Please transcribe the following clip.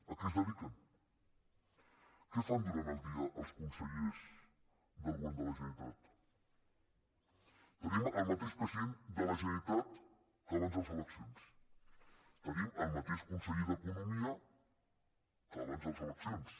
a què es dediquen què fan durant el dia els consellers del govern de la generalitat tenim el mateix president de la generalitat que abans de les eleccions tenim el mateix conseller d’economia que abans de les eleccions